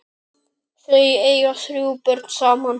Þau eiga þrjú börn saman.